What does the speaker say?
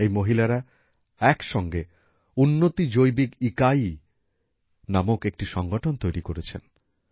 এই মহিলারা একসঙ্গে উন্নতি জৈবিক ইকায়ী নামক একটি সংগঠন তৈরি করেছেন